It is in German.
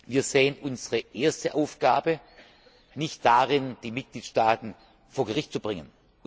Wir sehen unsere erste Aufgabe nicht darin, die Mitgliedstaaten vor Gericht zu bringen.